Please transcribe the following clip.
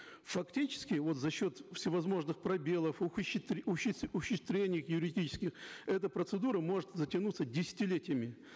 фактически вот за счет всевозможных пробелов юридических эта процедура может затянуться десятилетиями